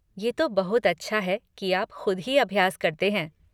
ये तो बहुत अच्छा है की आप ख़ुद ही अभ्यास करते हैं।